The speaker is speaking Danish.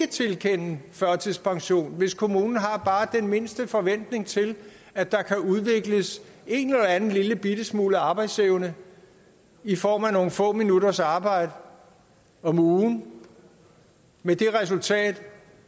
tilkende førtidspension hvis kommunen har bare den mindste forventning til at der kan udvikles en eller anden lillebitte smule arbejdsevne i form af nogle få minutters arbejde om ugen med det resultat